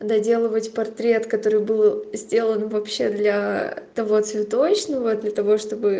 доделывать портрет который был сделан вообще для того цветочного для того чтобы